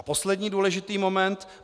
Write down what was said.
A poslední důležitý moment.